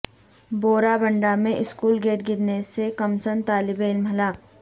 بورا بنڈہ میں school gate گرنے سے کمسن طالب علم ہلاک